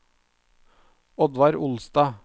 Oddvar Olstad